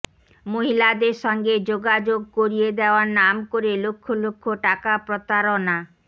মহিলাদের সঙ্গে যোগাযোগ করিয়ে দেওয়ার নাম করে লক্ষ লক্ষ টাকা প্রতারণা